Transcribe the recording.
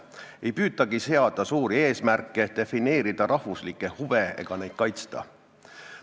Ei püütagi seada suuri eesmärke, defineerida rahvuslikke huve ega neid kaitsta.